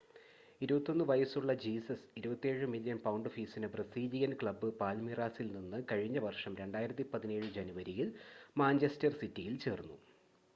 21 വയസ്സുള്ള Jesus 27 million pound ഫീസിന് Brazilian club പാൽമീറാസിൽ നിന്ന് കഴിഞ്ഞ വർഷം 2017 ജനുവരിയിൽ മാഞ്ചസ്റ്റർ സിറ്റിയിൽ ചേർന്നു